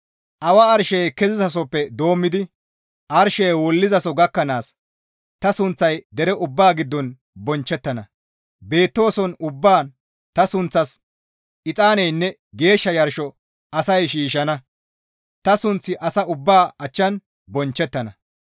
Awa arshey kezizasoppe doommidi arshey wullizaso gakkanaas ta sunththay dere ubbaa giddon bonchchettana; beettooson ubbaan ta sunththas exaaneynne geeshsha yarsho asay shiishshana; ta sunththi asa ubbaa achchan bonchchettana.